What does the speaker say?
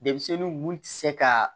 Denmisɛnninw mun tɛ se ka